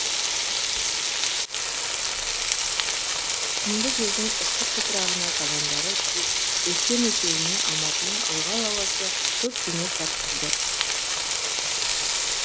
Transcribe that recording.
құмды жердің ыстық топырағына табандары күйіп өскен екеуіне алматының ылғал ауасы көп бейнет тартқызды